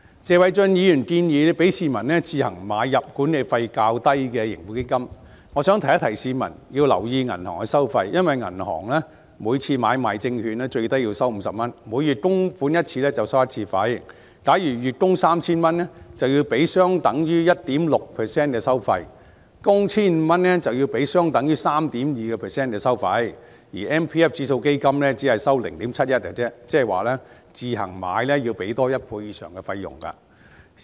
謝偉俊議員建議容許市民自行買入管理費較低的盈富基金，我想提醒市民要留意銀行收費，因為銀行每次作出買賣證券的最低收費為50元，每月供款一次便收取一次費用，假如月供 3,000 元便需要支付相等於 1.6% 的收費，供款 1,500 元則要支付相等於 3.2% 的收費，而強積金指數基金只收取 0.71%， 即自行買入盈富基金要多付1倍以上的費用。